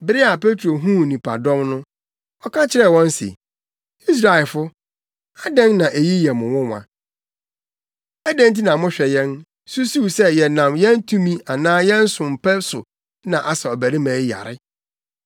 Bere a Petro huu nnipadɔm no, ɔka kyerɛɛ wɔn se, “Israelfo, adɛn na eyi yɛ mo nwonwa? Adɛn nti na mohwɛ yɛn, susuw sɛ yɛnam yɛn tumi anaa yɛn som pa so na asa ɔbarima yi yare?